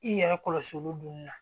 I yɛrɛ kɔlɔsi olu dun na